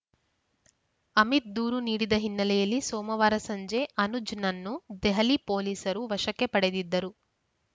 ಅಮಿತ್‌ ದೂರು ನೀಡಿದ ಹಿನ್ನೆಲೆಯಲ್ಲಿ ಸೋಮವಾರ ಸಂಜೆ ಅನುಜ್‌ನನ್ನು ದೆಹಲಿ ಪೊಲೀಸರು ವಶಕ್ಕೆ ಪಡೆದಿದ್ದರು